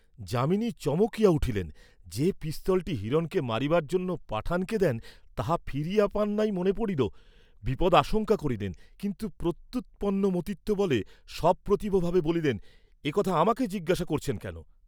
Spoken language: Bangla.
যামিনী চমকিয়া উঠিলেন, যে পিস্তলটি হিরণকে মারিবার জন্য পাঠানকে দেন তাহা ফিরিয়া পান নাই মনে পড়িল, বিপদ আশঙ্কা করিলেন, কিন্তু প্রত্যুপন্নমতিত্ব বলে সপ্রতিভভাবে বলিলেন এ কথা আমাকে জিজ্ঞাসা করছেন কেন?